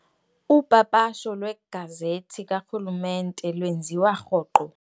Upapasho lwegazethi karhulumente lwenziwa rhoqo.